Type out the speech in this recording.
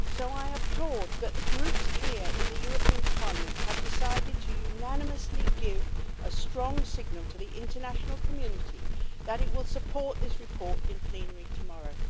I applaud that the groups here in the European Parliament have decided to unanimously give a strong signal to the international community that it will support this report in plenary tomorrow.